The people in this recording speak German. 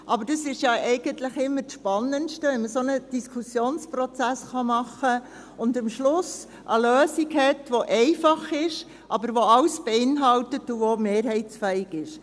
Aber dies ist ja immer das Spannendste, wenn man einen solchen Diskussionsprozess machen kann und man am Schluss eine Lösung hat, welche einfach ist, aber alles beinhaltet und auch mehrheitsfähig ist.